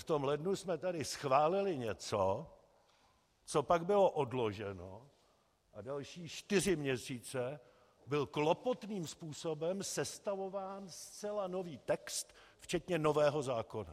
V tom lednu jsme tady schválili něco, co pak bylo odloženo, a další čtyři měsíce byl klopotným způsobem sestavován zcela nový text, včetně nového zákona.